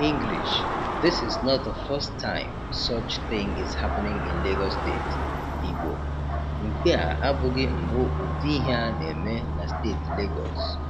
English: This is not is not the first time such thing is happening in Lagos State. Igbo: Nke a abụghị mbụ ụdị ihe a na-eme na Steeti Legọs.